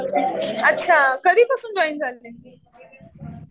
अच्छा. कधी पासून जॉईन झाली?